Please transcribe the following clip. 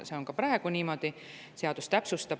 See on ka praegu niimoodi.